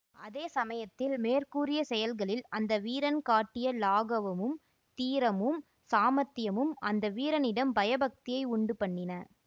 அதே சமயத்தில் மேற்கூறிய செயல்களில் அந்த வீரன் காட்டிய லாகவமும் தீரமும் சாமர்த்தியமும் அந்த வீரனிடம் பயபக்தியை உண்டு பண்ணின